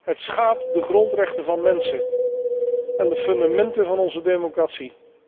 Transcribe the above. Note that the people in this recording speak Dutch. Het schaadt de grondrechten van mensen en de fundamenten van onze democratie.